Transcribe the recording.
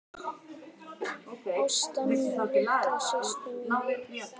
Ásta mín, litla systir mín.